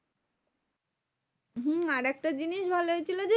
হম আরেকটা জিনিস ভালো হয়েছিল যে,